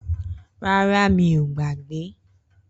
Rárá, mi ọ gbagbe.